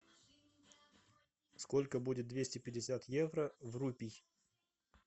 сколько будет двести пятьдесят евро в рупий